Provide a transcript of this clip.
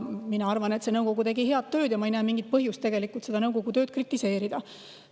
Mina arvan, et see nõukogu tegi head tööd ja ma ei näe mingit põhjust selle tööd kritiseerida.